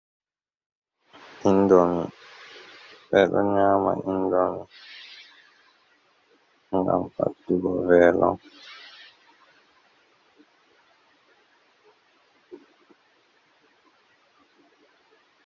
Indomi ɓeɗo nyama indomi gam paddugo velo.